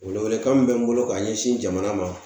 Welewelekan min bɛ n bolo ka ɲɛsin jamana ma